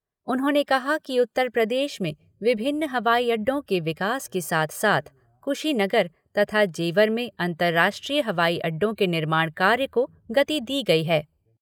उन्होंने कहा कि उत्तर प्रदेश में विभिन्न हवाई अड्डों के विकास के साथ साथ कुशीनगर तथा जेवर में अन्तर्राष्ट्रीय हवाई अड्डों के निर्माण कार्य को गति दी गई है